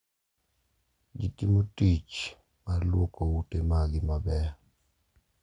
Ji timo tich mar lwoko ute maggi maber,